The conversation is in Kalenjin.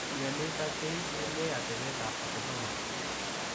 Mionitok keibunee atepeet ap atomosol.